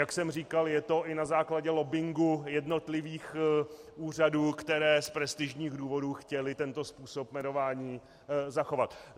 Jak jsem říkal, je to i na základě lobbingu jednotlivých úřadů, které z prestižních důvodů chtěly tento způsob jmenování zachovat.